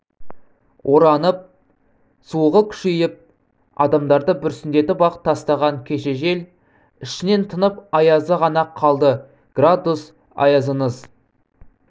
оранып суығы күшейіп адамдарды бүрсеңдетіп-ақ тастаған кеше жел ішінен тынып аязы ғана қалды градус аязыңыз